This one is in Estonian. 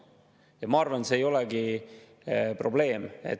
Ja ma arvan, et see ei ole probleem.